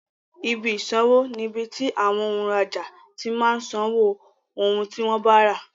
Ibi ìsanwó ni ibi tí àwọn òǹrajà ti máa ń san owó ohun tí wọ́n bá rà.